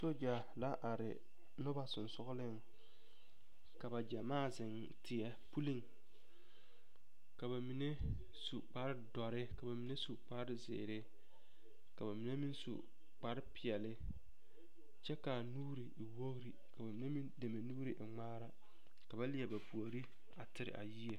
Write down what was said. Sogya la are noba sonsooleŋ ka ba gyɛmaa zeŋ teɛ puliŋ ka bamine su kpare dɔre ka bamine su kpare zeere ka bamine meŋ su kpare peɛle kyɛ k'a nuuri e wogiri ka bamine deme nuuri e ŋmaara ka ba leɛ ba puori a teere a yie.